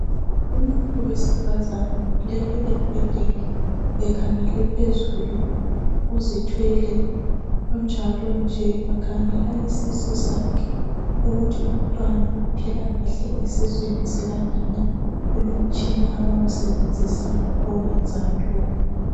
Umuntu wesifazane ulele embhedeni ekhangele phezulu uzithwele, unjalo nje bakhangela isusu sakhe ukuthi umntwana uphila kahle esiswini sikanina kulomtshina abawusebenzisayo okwezayo lokho.